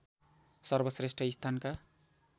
सर्वश्रेष्ठ स्थानका